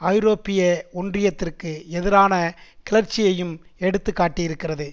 ஐரோப்பிய ஒன்றியத்திற்கு எதிரான கிளர்ச்சியையும் எடுத்துக்காட்டியிருக்கிறது